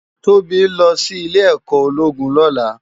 Tobi n lò si Ilè èkò ólógún lòlá